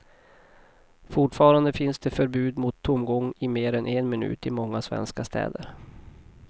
Fortfarande finns det förbud mot tomgång i mer än en minut i många svenska städer.